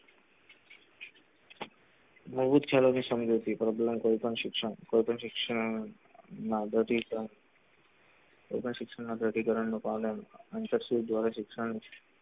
બહુત ચાલોવી સંજોતી કરો આગલા કોઈ પણ શિક્ષણ કોઈ પણ શિક્ષણ ના પ્રતિકરણ નો શિક્ષણ